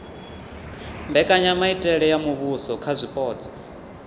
mbekanyamitele ya muvhuso kha zwipotso